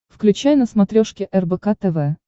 включай на смотрешке рбк тв